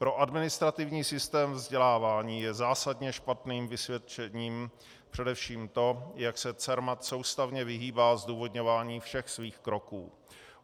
Pro administrativní systém vzdělávání je zásadně špatným vysvědčením především to, jak se CERMAT soustavně vyhýbá zdůvodňování všech svých kroků.